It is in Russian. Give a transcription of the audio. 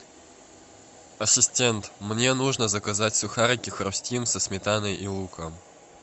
ассистент мне нужно заказать сухарики хрустим со сметаной и луком